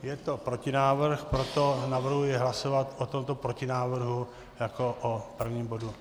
Je to protinávrh, proto navrhuji hlasovat o tomto protinávrhu jako o prvním bodu.